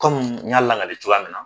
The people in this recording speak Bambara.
Kɔmi n y'a lakalen cogoya min na